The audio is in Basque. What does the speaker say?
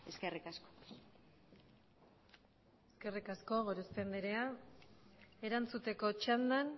eskerrik asko eskerrik asko gorospe andrea erantzuteko txandan